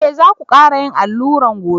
Eh za ku kara yin allura gobe.